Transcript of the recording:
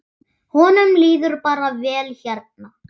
Honum líður bara vel hérna.